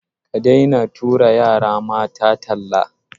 Ka daina tura yara mata talla.